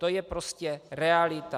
To je prostě realita.